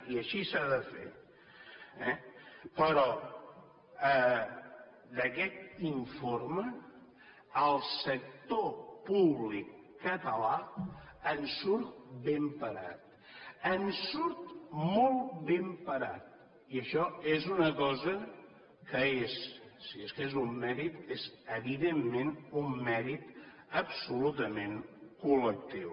i així s’ha de fer eh però d’aquest informe el sector públic català en surt ben parat en surt molt ben parat i això és una cosa que si és que és un mèrit és evidentment un mèrit absolutament col·lectiu